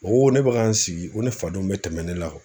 O ko ne bɛ ka n sigi ko ne fadenw bɛ tɛmɛ ne la